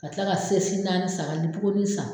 Ka tila ka sɛsi naani san ka lipokonin san.